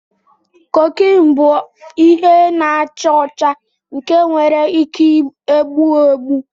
Kokine bụ ihe na-acha ọcha nke nwere ike egbu egbu.